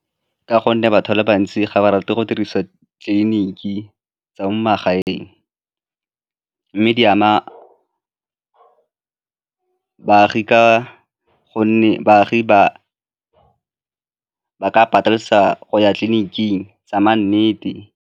Ka gonne batho ba le bantsi ga ba rate go dirisa tleliniki tsa mo magaeng mme di ama baagi ka gonne baagi ba ka patelesega go ya tleliniking tsa nnete.